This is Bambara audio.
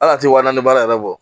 Hal'a tɛ wa naani baara yɛrɛ bɔ